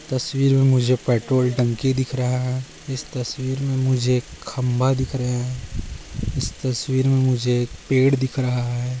तस्वीर मे मुझे पेट्रोल टंकी दिख रहा है इस तस्वीर मे मुझे खंबा दिख रहे है इस तस्वीर मे मुझे पेड़ दिख रहा है।